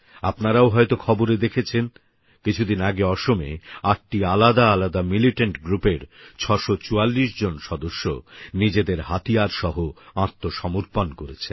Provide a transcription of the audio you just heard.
আপনারাও হয়তো খবরে দেখেছেন কিছুদিন আগে অসমে আটটি আলাদা আলাদা মিলিটেন্ট গ্রুপের ৬৪৪ জন সদস্য নিজেদের হাতিয়ারসহ আত্মসমপর্ণ করেছেন